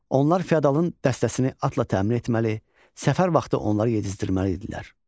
Onlar fiodalın dəstəsini atla təmin etməli, səfər vaxtı onları yedizdirməli idilər.